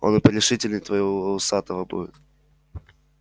он и порешительней твоего усатого будет